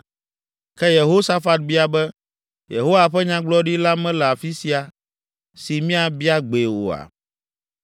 Ke Yehosafat bia be, “Yehowa ƒe nyagblɔɖila mele afi sia, si míabia gbee oa?”